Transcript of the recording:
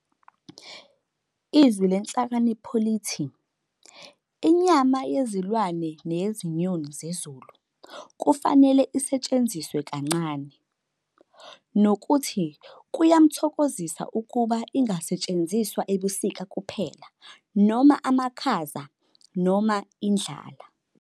IZwi leNhlakanipho lithi "inyama yezilwane neyezinyoni zezulu. .. kufanele isetshenziswe kancane" nokuthi "kuyamthokozisa ukuba ingasetshenziswa ebusika kuphela., noma amakhaza, noma indlala.